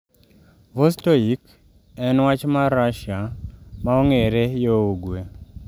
Vostoik en wach mar Russia ma ong'ere yo ugwe